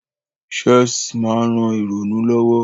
Chess ma n ran ìrònú lowo